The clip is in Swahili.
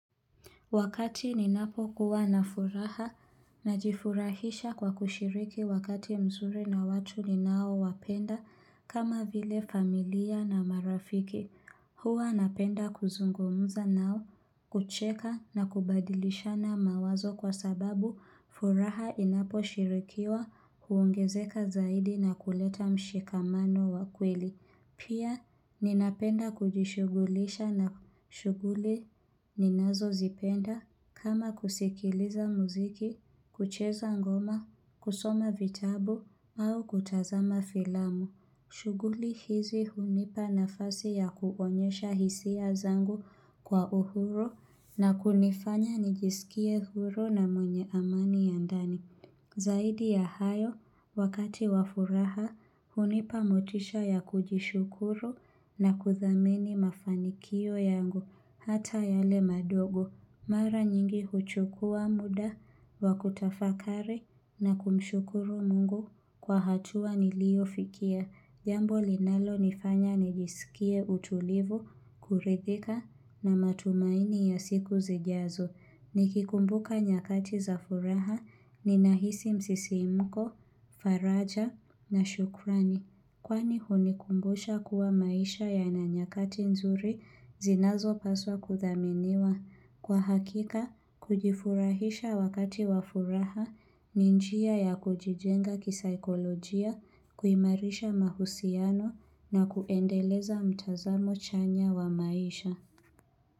Wakati ninapo kuwa na furaha na jifurahisha kwa kushiriki wakati mzuri na watu ni nao wapenda kama vile familia na marafiki. Huwa napenda kuzungumza nao, kucheka na kubadilisha na mawazo kwa sababu furaha inapo shirikiwa huongezeka zaidi na kuleta mshikamano wakweli. Pia ninapenda kujishugulisha na shuguli ninazo zipenda kama kusikiliza muziki, kucheza ngoma, kusoma vitabu au kutazama filamu. Shuguli hizi hunipa nafasi ya kuonyesha hisia zangu kwa uhuru na kunifanya nijisikie uhuru na mwenye amani ya ndani. Zaidi ya hayo, wakati wafuraha, hunipa motisha ya kujishukuru na kuthamini mafanikio yangu, hata yale madogo. Mara nyingi huchukua muda, wakutafakari na kumshukuru mungu kwa hatua nilio fikia. Jambo linalo nifanya nijisikie utulivu, kuredhika na matumaini ya siku zijazo. Ni kikumbuka nyakati za furaha ni nahisi msisi mko, faraja na shukrani. Kwani hunikumbusha kuwa maisha ya na nyakati nzuri zinazo paswa kuthaminiwa. Kwa hakika, kujifurahisha wakati wa furaha ni njia ya kujijenga kisaikolojia, kuimarisha mahusiano na kuendeleza mtazamo chanya wa maisha.